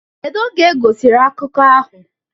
kedu oge egosiri akụkọ ahụ